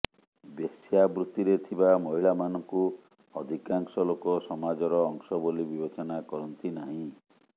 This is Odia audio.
ବେଶ୍ୟାବୃତ୍ତିରେ ଥିବା ମହିଳାମାନଙ୍କୁ ଅଧିକାଂଶ ଲୋକ ସମାଜର ଅଂଶ ବୋଲି ବିବେଚନା କରନ୍ତି ନାହିଁ